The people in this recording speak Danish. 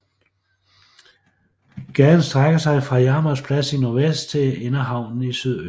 Gaden strækker sig fra Jarmers Plads i nordvest til Inderhavnen i sydøst